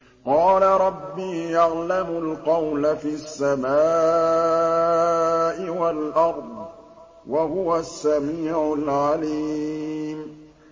قَالَ رَبِّي يَعْلَمُ الْقَوْلَ فِي السَّمَاءِ وَالْأَرْضِ ۖ وَهُوَ السَّمِيعُ الْعَلِيمُ